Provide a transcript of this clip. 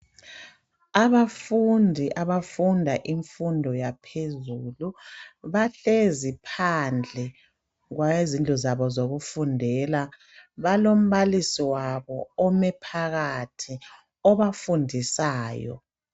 Abafundi abafunda imfundo yaphezelu bahlezi phandle kwendlu zabo zokufundela, balombalisi wabo ome phakathi obafundisayo.